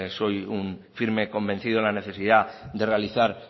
soy un firme convencido en la necesidad de realizar